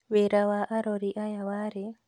Wĩra wa arori aya warĩ;